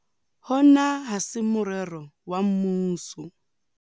Hona ha se morero wa mmuso.